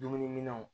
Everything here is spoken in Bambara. Dumuniminɛnw